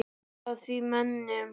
Út af þessum mönnum?